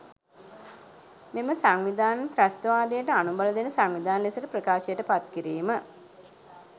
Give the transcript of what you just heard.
මෙම සංවිධාන ත්‍රස්තවාදයට අනුබල දෙන සංවිධාන ලෙසට ප්‍රකාශයට පත් කිරීම